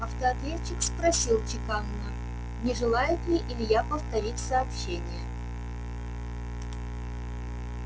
автоответчик спросил чеканно не желает ли илья повторить сообщение